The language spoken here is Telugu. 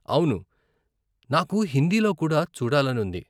అవును, నాకు హిందీలో కూడా చూడాలని ఉంది.